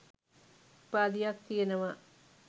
උපාධියක් තියෙනවා